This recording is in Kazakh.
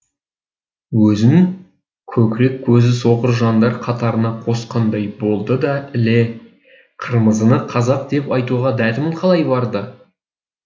өзін көкірек көзі соқыр жандар қатарына қосқандай болды да іле қырмызыны қазақ деп айтуға дәтім қалай барды